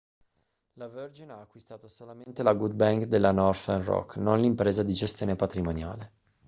la virgin ha acquistato solamente la good bank' della northern rock non l'impresa di gestione patrimoniale